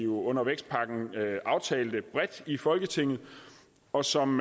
under vækstpakken aftalte bredt i folketinget og som